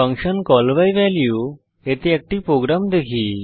function call by value এতে একটি program দেখি